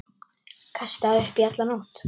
Kastaði upp í alla nótt.